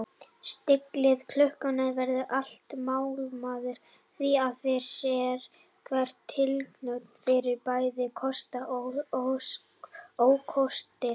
Stilling klukkunnar verður alltaf málamiðlun því að sérhverri tilhögun fylgja bæði kostir og ókostir.